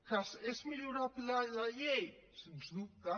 que és millorable la llei sens dubte